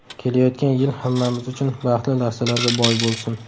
Kelayotgan yil hammamiz uchun baxtli lahzalarga boy bo‘lsin!